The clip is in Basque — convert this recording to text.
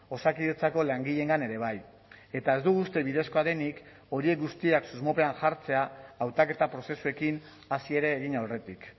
osakidetzako langileengan ere bai eta ez dugu uste bidezkoa denik horiek guztiak susmopean jartzea hautaketa prozesuekin hasi ere egin aurretik